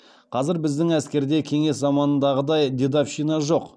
қазір біздің әскерде кеңес заманындағыдай дедовщина жоқ